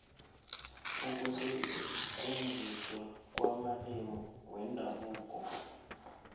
ukusetjenziswa kwamalimi wendabuko